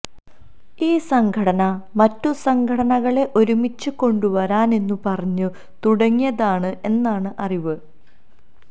ഈ സംഘടന മറ്റു സംഘടനകളെ ഒരുമിച്ചു കൊണ്ടുവരാൻ എന്നു പറഞ്ഞു തുടങ്ങിയതാണ് എന്നാണ് അറിവ്